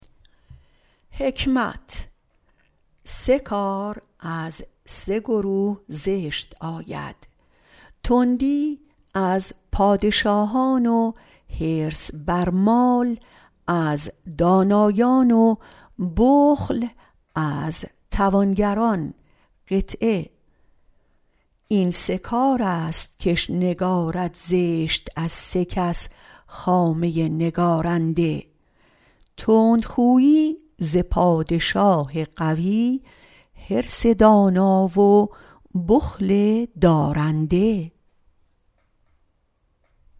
سه کار از سه گروه زشت آید تندی از پادشاه و حرص بر مال از دانایان و بخل از توانگران این سه کار است کش نگارد زشت از سه کس خامه نگارنده تندی خوی پادشاه قوی حرص دانا و بخل دارنده